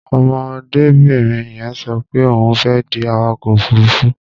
Ọmọdébìnrin yẹn sọ pé òun fẹ́ di awakọ̀ òfuruufú.